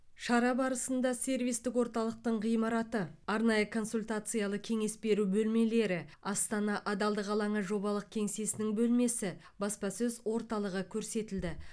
шара барысында сервистік орталықтың ғимараты арнайы консультациялы кеңес беру бөлмелері астана адалдық алаңы жобалық кеңсесінің бөлмесі баспасөз орталығы көрсетілді